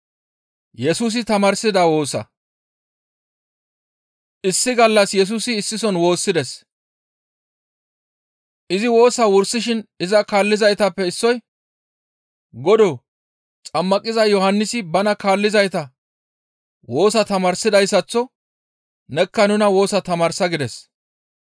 Issi gallas Yesusi issison woossides; izi woosaa wursishin iza kaallizaytappe issoy, «Godoo! Xammaqiza Yohannisi bana kaallizayta woosa tamaarsidayssaththo nekka nuna woosa tamaarsa!» gides.